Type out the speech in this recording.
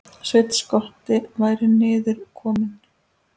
Sveinn skotti væri niður kominn.